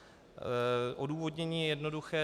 Odůvodnění je jednoduché.